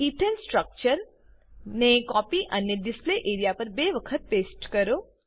ethane સ્ટ્રક્ચરને copy અને display area પર બે વખત પેસ્ટ કરો